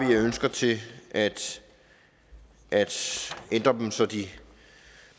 ønsker til at ændre dem så de